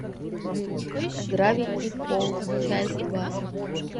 гравити фолз часть два